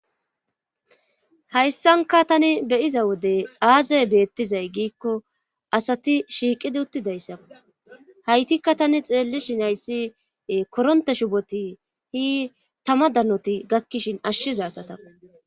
Hayssanka tani be7iza wode aazay beettizay giikko asati shiiqidi uttidayssa haytikka tani xeellishin hayssi koronte shuboti hi tama danoti gakkishin ashshiza asatako.